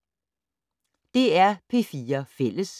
DR P4 Fælles